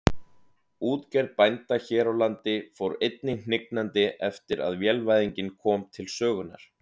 Útgerð bænda hér á landi fór einnig hnignandi eftir að vélvæðingin kom til sögunnar.